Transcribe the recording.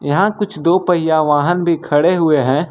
यहां कुछ दो पहिया वाहन भी खड़े हुए हैं।